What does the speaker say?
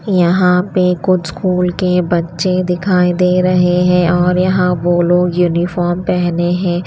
यहां पे कुछ स्कूल के बच्चे दिखाई दे रहे हैं और यहां वो लोग यूनिफॉर्म पहने हैं।